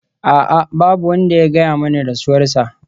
A'a! Babu wanda ya gaya mani rasuwarsa.